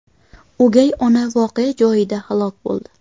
O‘gay ona voqea joyida halok bo‘ldi.